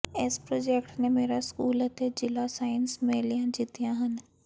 ਇਸ ਪ੍ਰੋਜੈਕਟ ਨੇ ਮੇਰਾ ਸਕੂਲ ਅਤੇ ਜਿਲਾ ਸਾਇੰਸ ਮੇਲਿਆਂ ਜਿੱਤੀਆਂ ਹਨ